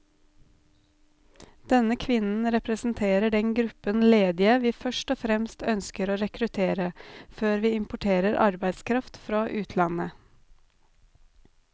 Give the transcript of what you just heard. Denne kvinnen representerer den gruppen ledige vi først og fremst ønsker å rekruttere, før vi importerer arbeidskraft fra utlandet.